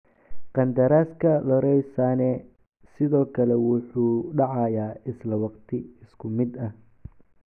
Qandaraaska Leroy Sane sidoo kale wuxuu dhacayaa isla waqti isku mid ah.